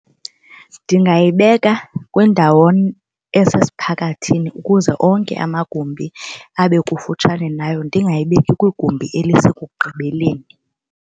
Ndingayibeka kwindawo esesiphakathini ukuze onke amagumbi abe kufutshane nayo ndingayibeki kwigumbi elisekugqibeleni.